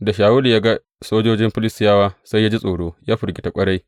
Da Shawulu ya ga sojojin Filistiyawa sai ya ji tsoro, ya firgita ƙwarai.